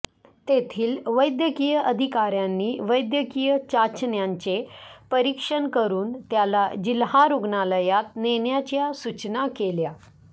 तेथील वैद्यकीय अधिकाऱयांनी वैद्यकीय चाचण्यांचे परीक्षण करून त्याला जिल्हा रुग्णालयात नेण्याच्या सूचना केल्या